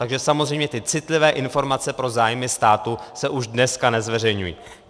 Takže samozřejmě ty citlivé informace pro zájmy státu se už dneska nezveřejňují.